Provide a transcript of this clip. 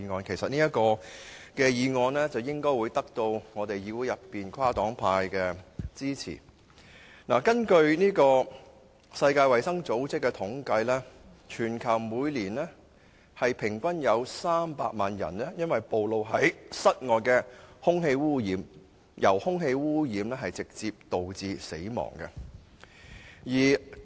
這項議案應會得到議會內跨黨派的支持。根據世界衞生組織的統計，全球每年平均有300萬人因暴露在室外空氣污染而直接導致死亡。